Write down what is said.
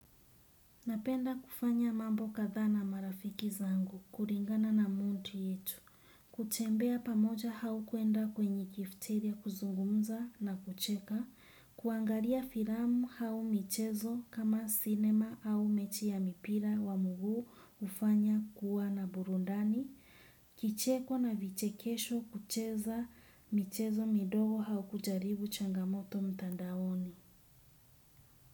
Napenda kufanya mambo katha na marafiki zangu, kuringana na mundu yetu, kutembea pamoja hau kuenda kwenye kifteria kuzungumza na kucheka, kuangalia firamu hau michezo kama cinema au mechi ya mipira wa mugu ufanya kuwa na burundani, kicheko na vichekesho kucheza michezo midogo hau kujaribu changamoto mtandaoni.